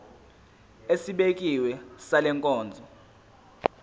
esibekiwe sale nkonzo